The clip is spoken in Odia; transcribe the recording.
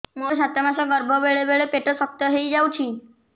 ମୋର ସାତ ମାସ ଗର୍ଭ ବେଳେ ବେଳେ ପେଟ ଶକ୍ତ ହେଇଯାଉଛି